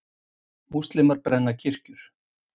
Múslímar brenna kirkjur